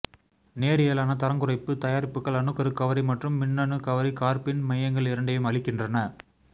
நேரியலான தரங்குறைப்பு தயாரிப்புகள் அணுக்கரு கவரி மற்றும் மின்னணு கவரி கார்பீன் மையங்கள் இரண்டையும் அளிக்கின்றன